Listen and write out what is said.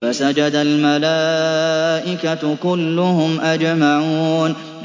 فَسَجَدَ الْمَلَائِكَةُ كُلُّهُمْ أَجْمَعُونَ